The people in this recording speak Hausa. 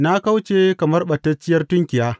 Na kauce kamar ɓatacciyar tunkiya.